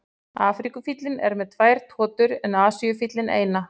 Afríkufíllinn er með tvær totur en Asíufíllinn eina.